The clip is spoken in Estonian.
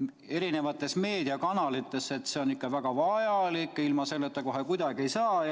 mitmes meediakanalis, öeldes, et see on väga vajalik ja ilma selleta kohe kuidagi ei saa.